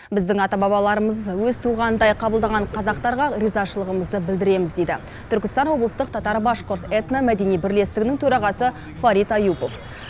біздің ата бабаларымызды өз туғанындай қабылдаған қазақтарға ризашылығымызды білдіреміз дейді түркістан облыстық татар башқұрт этномәдени бірлестігінің төрағасы фарит аюпов